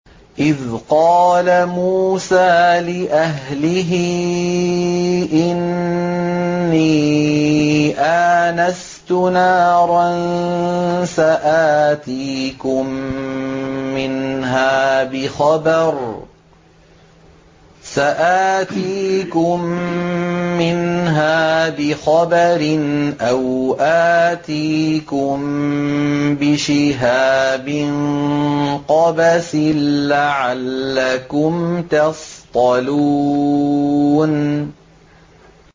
إِذْ قَالَ مُوسَىٰ لِأَهْلِهِ إِنِّي آنَسْتُ نَارًا سَآتِيكُم مِّنْهَا بِخَبَرٍ أَوْ آتِيكُم بِشِهَابٍ قَبَسٍ لَّعَلَّكُمْ تَصْطَلُونَ